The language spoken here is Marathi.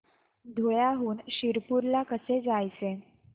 धुळ्याहून शिरपूर ला कसे जायचे